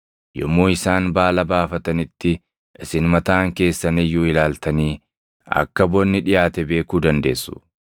Yommuu isaan baala baafatanitti isin mataan keessan iyyuu ilaaltanii akka bonni dhiʼaate beekuu dandeessu.